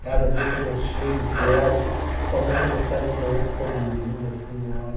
cada dia quando eu chego e que olho, principalmente quando eu saio de manhã que estão dormindo assim, eu olho.